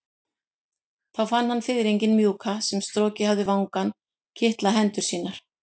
Þá fann hann fiðringinn mjúka sem strokið hafði vangann kitla hendur sínar.